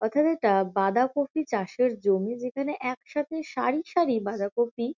অর্থাৎ এটা বাঁধাকপি চাষের জমি যেখানে একসাথে সারি সারি বাঁধাকপি।